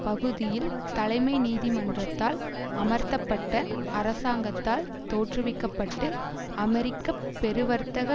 பகுதியில் தலைமை நீதிமன்றத்தால் அமர்த்தப்பட்ட அரசாங்கத்தால் தோற்றுவிக்க பட்டு அமெரிக்க பெருவர்த்தக